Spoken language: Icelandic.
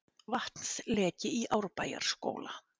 Vatnsleki í Árbæjarskóla